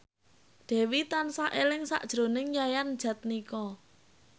Dewi tansah eling sakjroning Yayan Jatnika